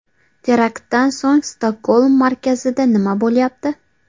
Teraktdan so‘ng Stokgolm markazida nima bo‘lyapti ?